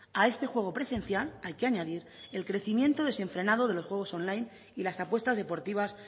a este juego presencial hay que añadir el crecimiento desenfrenado de los juegos online y las apuestas deportivas